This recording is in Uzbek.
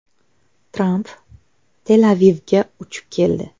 Tramp Tel-Avivga uchib keldi.